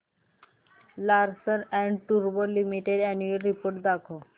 Larsen and टुर्बो limited annual report दाखव